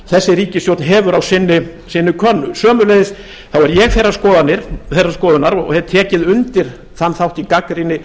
þessi ríkisstjórn hefur á sinni könnu og sömuleiðis þá er ég þeirrar skoðunar og hef tekið undir þann þátt í gagnrýni